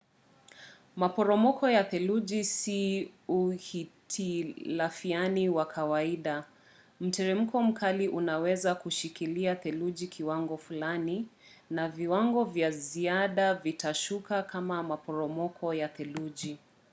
maporomoko ya theluji si uhitilafiani wa kawaida; mteremko mkali unaweza kushikilia theluji kiwango fulani na viwango vya ziada vitashuka kama maporomoko ya theluji